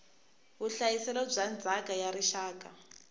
vuhlayiselo bya ndzhaka ya rixaka